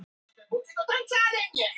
Af hverju ekki?